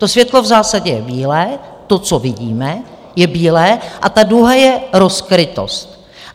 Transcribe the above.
To světlo v zásadě je bílé, to, co vidíme, je bílé a ta duha je rozkrytost.